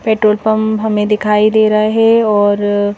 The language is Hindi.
पेट्रोल पंप हमें दिखाई दे रहा है और--